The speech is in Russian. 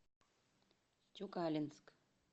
тюкалинск